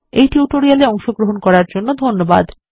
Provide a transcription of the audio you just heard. এই টিউটোরিয়াল এ অংশগ্রহন করার জন্য ধন্যবাদ